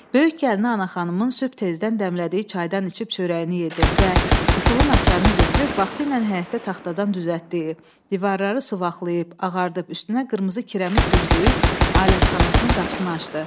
Böyük gəlini Anaxanımın sübh tezdən dəmlədiyi çaydan içib çörəyini yedi və qıfılın açarını götürüb vaxtilə həyətdə taxtadan düzəltdiyi, divarlarını suvaqlayıb ağardığı, üstünə qırmızı kirəmit düzdüyü alətxanasının qapısını açdı.